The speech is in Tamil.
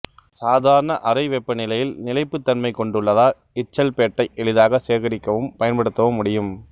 சாதாரண அறை வெப்பநிலையில் நிலைப்புத்தன்மை கொண்டுள்ளதால் இச்சல்பேட்டை எளிதாகச் சேகரிக்கவும் பயன்படுத்தவும் முடியும்